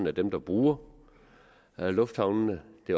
at dem der bruger lufthavnene